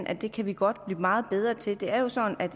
at det kan vi godt blive meget bedre til det er jo sådan at